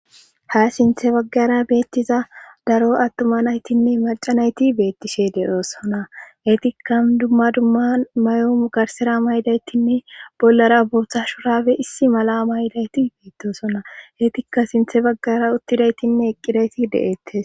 Ha sintte baggara beettiza daro attuma naytinne macca nayti beettishe de7oosona;etikka dumma dumma mayo garsera mayidaytinne bollara boota shurabe issi mala mayidayti bettosona;etikka sinthe baggara uttidaytinne eqqidayti de7eettes.